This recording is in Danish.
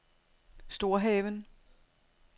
Storhaven